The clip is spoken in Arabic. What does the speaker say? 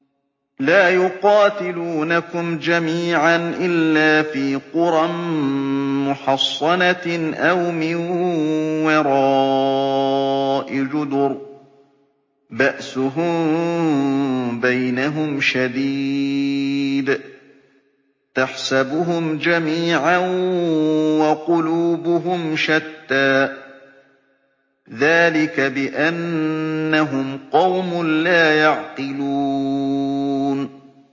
لَا يُقَاتِلُونَكُمْ جَمِيعًا إِلَّا فِي قُرًى مُّحَصَّنَةٍ أَوْ مِن وَرَاءِ جُدُرٍ ۚ بَأْسُهُم بَيْنَهُمْ شَدِيدٌ ۚ تَحْسَبُهُمْ جَمِيعًا وَقُلُوبُهُمْ شَتَّىٰ ۚ ذَٰلِكَ بِأَنَّهُمْ قَوْمٌ لَّا يَعْقِلُونَ